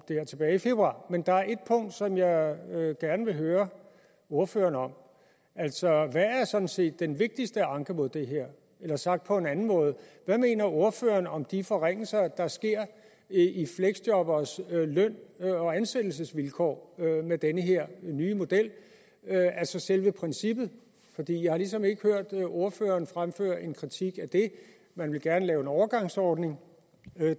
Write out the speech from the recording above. men der er et punkt som jeg gerne vil høre ordføreren om altså hvad er sådan set den vigtigste anke mod det her eller sagt på en anden måde hvad mener ordføreren om de forringelser der sker i fleksjobberes løn og ansættelsesvilkår med den her nye model altså selve princippet jeg har ligesom ikke hørt ordføreren fremføre en kritik af det man vil gerne lave en overgangsordning